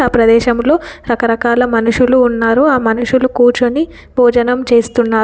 ఆ ప్రదేశంలో రకరకాల మనుషులు ఉన్నారు ఆ మనుషులు కూర్చొని భోజనం చేస్తున్నారు.